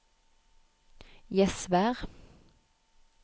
Gjesvær